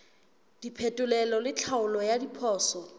diphetolelo le tlhaolo ya diphoso